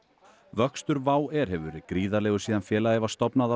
vöxtur Wow air hefur verið gríðarlegur síðan félagið var stofnað